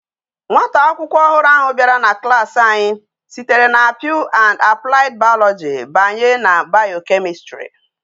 Nwata akwukwo ohuru ahu biara na klas anyi sitere na pure and applied biology banyi na biochemistry